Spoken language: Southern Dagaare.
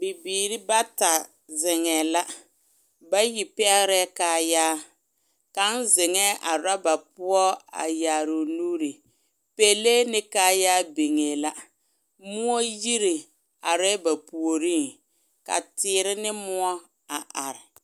Bibiiri bata zeŋɛɛ la bayi pɛgrɛɛ kayaree kaŋ zeŋɛɛ a ɔreba a yaare o nuuri pɛlee kaŋ biŋ ne kayaare muɔ yiri arɛɛ ba puoriŋ ka teere ne muɔ are.